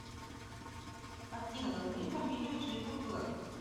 афина назови фамилию джэйкоб блэк